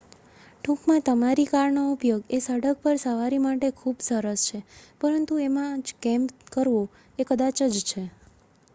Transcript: "ટૂંકમાં તમારી કારનો ઉપયોગ એ સડક પર સવારી માટે ખુબ સરસ છે પરંતુ એમાં જ "કેમ્પ" કરવો એ કદાચ જ છે.